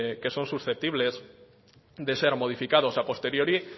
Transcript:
que son susceptibles de ser modificados a posteriori